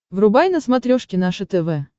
врубай на смотрешке наше тв